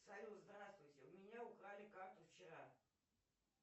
салют здравствуйте у меня украли карту вчера